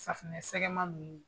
Safunɛsɛgɛma ninnu